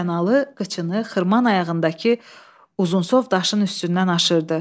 Həsənalı qıçını xırman ayağındakı uzunsov daşın üstündən aşırdı.